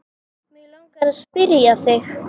Mig langar að spyrja þig.